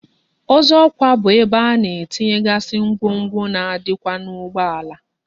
Ọzọkwa bụ ebe a na-etinyegazi ngwongwo na adikwa na ugbo ala